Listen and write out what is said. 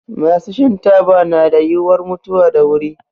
Masu shan taba na da yiwuwar mutuwa da wuri.